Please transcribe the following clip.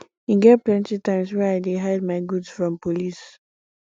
e get plenty times wey i dey hide my goods from police